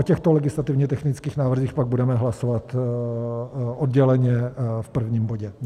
O těchto legislativně technických návrzích pak budeme hlasovat odděleně v prvním bodě.